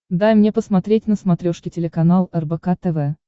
дай мне посмотреть на смотрешке телеканал рбк тв